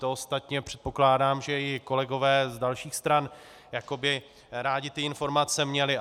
To ostatně předpokládám, že i kolegové z dalších stran by rádi ty informace měli.